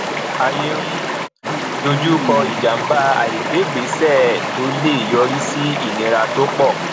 ayé ń dojú kọ ìjàmbá àìgbé ìgbésẹ tó le yọrí sí ìnira tó pọ